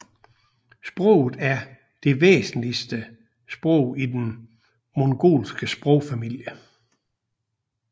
Sproget er det væsentligste sprog i den mongolske sprogfamilie